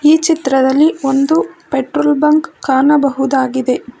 ಈ ಚಿತ್ರದಲ್ಲಿ ಒಂದು ಪೆಟ್ರೋಲ್ ಬಂಕ್ ಕಾಣಬಹುದಾಗಿದೆ.